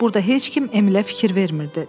Burda heç kim Emilə fikir vermirdi.